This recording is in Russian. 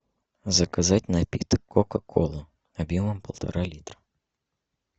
заказать напиток кока кола объемом полтора литра